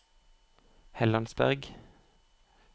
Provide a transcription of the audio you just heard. Hellandsberg